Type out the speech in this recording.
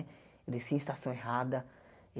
Eu descia em estação errada.